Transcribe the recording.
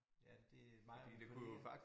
Ja det mig og min veninde